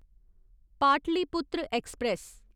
Pataliputra express